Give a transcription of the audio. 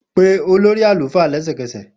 Pe olori alufa lẹsẹkẹsẹ!